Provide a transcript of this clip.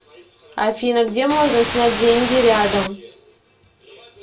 афина где можно снять деньги рядом